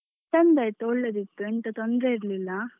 ಚೆಂದ ಇತ್ತು ಒಳ್ಳೆದಿತ್ತು ಎಂತ ತೊಂದರೆ ಇರ್ಲಿಲ್ಲ.